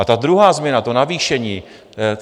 A ta druhá změna, to navýšení.